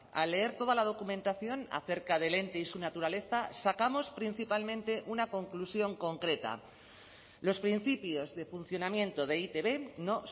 al leer toda la documentación acerca del ente y su naturaleza sacamos principalmente una conclusión concreta los principios de funcionamiento de e i te be no